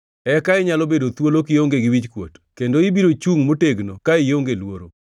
eka inyalo bedo thuolo kionge gi wichkuot kendo ibiro chungʼ motegno ka ionge luoro.